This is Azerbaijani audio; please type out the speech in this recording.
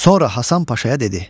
Sonra Hasan Paşaya dedi: